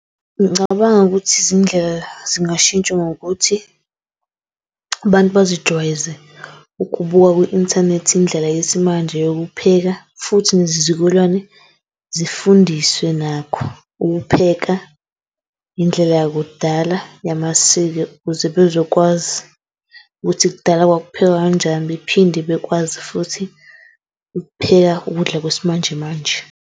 Ngicabanga ukuthi izindlela zingashintshwa ngokuthi abantu bazijwayeze ukubuka kwi-inthanethi indlela yesimanje yokupheka futhi nezizukulwane zifundiswe nakho ukupheka indlela yakudala yamasiko. Ukuze bezokwazi ukuthi kudala kwakuphekwa kanjani. Bephinde bakwazi futhi ukupheka ukudla kwesimanjemanje.